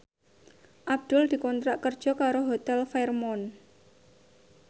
Abdul dikontrak kerja karo Hotel Fairmont